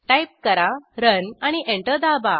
type करा run आणि enter दाबा